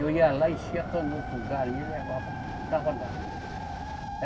Eu ia lá, enchia a canoa com galinha e levava, botava lá.